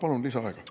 Palun lisaaega.